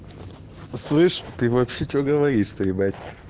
слышь ты вообще что говоришь то ебать